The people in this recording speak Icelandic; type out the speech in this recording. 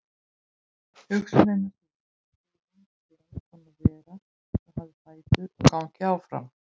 Hugsunin er sú að tíminn sé eins konar vera sem hafi fætur og gangi áfram.